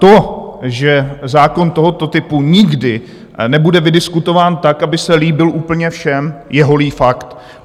To, že zákon tohoto typu nikdy nebude vydiskutován tak, aby se líbil úplně všem, je holý fakt.